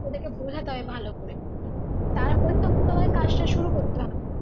ওদেরকে বোঝাতে হবে ভালো করে তারপরে তখন তোমাকে কাজটা শুরু করতে